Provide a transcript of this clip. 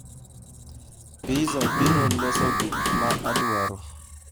Pizza biro loso gik ma adwaro